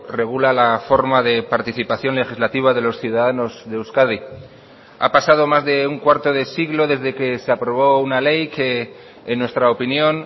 regula la forma de participación legislativa de los ciudadanos de euskadi ha pasado más de un cuarto de siglo desde que se aprobó una ley que en nuestra opinión